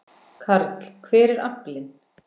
Karl: Hver er aflinn?